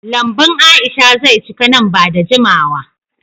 Lambun Aisha ze cika nan ba da jimawa.